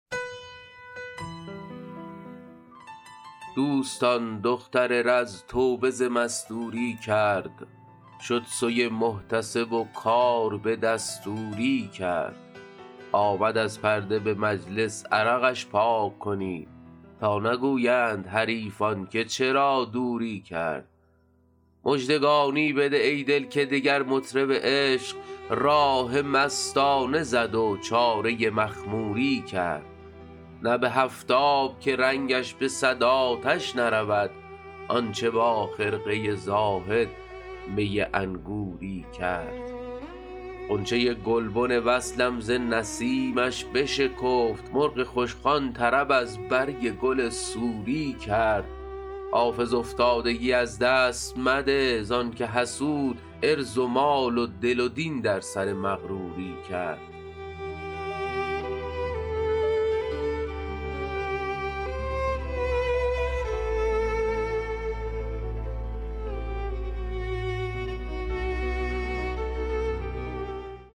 دوستان دختر رز توبه ز مستوری کرد شد سوی محتسب و کار به دستوری کرد آمد از پرده به مجلس عرقش پاک کنید تا نگویند حریفان که چرا دوری کرد مژدگانی بده ای دل که دگر مطرب عشق راه مستانه زد و چاره مخموری کرد نه به هفت آب که رنگش به صد آتش نرود آن چه با خرقه زاهد می انگوری کرد غنچه گلبن وصلم ز نسیمش بشکفت مرغ خوشخوان طرب از برگ گل سوری کرد حافظ افتادگی از دست مده زان که حسود عرض و مال و دل و دین در سر مغروری کرد